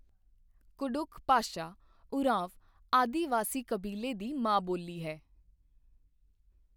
ਕੁਡੁਖ ਭਾਸ਼ਾ, ਉਰਾਂਵ ਆਦਿਵਾਸੀ ਕਬੀਲੇ ਦੀ ਮਾਂ ਬੋਲੀ ਹੈ।